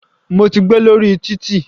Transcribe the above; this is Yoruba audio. Mo ti gbé lórí títì.